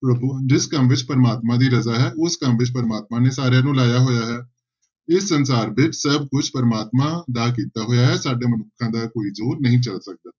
ਪ੍ਰਭੂ ਜਿਸ ਕੰਮ ਵਿੱਚ ਪਰਮਾਤਮਾ ਦੀ ਰਜ਼ਾ ਹੈ ਉਸ ਕੰਮ ਵਿੱਚ ਪਰਮਾਤਮਾ ਨੇ ਸਾਰਿਆਂ ਨੂੰ ਲਾਇਆ ਹੋਇਆ ਹੈ, ਇਹ ਸੰਸਾਰ ਵਿੱਚ ਸਭ ਕੁਛ ਪ੍ਰਮਾਤਮਾ ਦਾ ਕੀਤਾ ਹੋਇਆ ਹੈ ਸਾਡੇ ਮਨੁੱਖਾਂ ਦਾ ਕੋਈ ਜ਼ੋਰ ਨਹੀਂ ਚੱਲ ਸਕਦਾ।